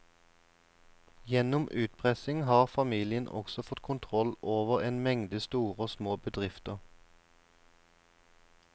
Gjennom utpressing har familien også fått kontroll over en mengde store og små bedrifter.